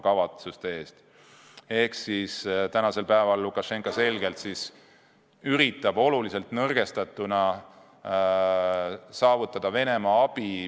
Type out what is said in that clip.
Praegu üritab Lukašenka ilmselgelt oluliselt nõrgestatuna kuidagi saavutada Venemaa abi.